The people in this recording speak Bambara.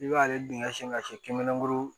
I b'ale dingɛ sen ka se kenige